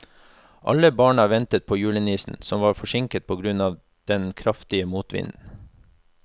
Alle barna ventet på julenissen, som var forsinket på grunn av den kraftige motvinden.